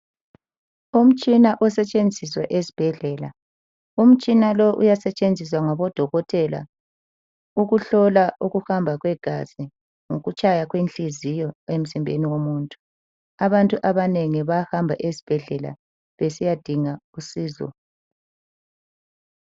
Umtshina osetshenziswa esibhedlela. Umtshina lo uyasetshenziswa ngabodokotela ukuhlola ukuhamba kwegazi lokutshaya kwenhliziyo emzimbeni womuntu. Abantu abanengi bayahamba esibhedlela besiyadinga usizo.